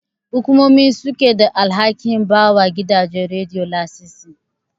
Hukumomi suke da alhakin bawa gidajen Radiyo lasisi.